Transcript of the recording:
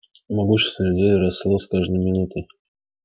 могущество людей росло с каждой минутой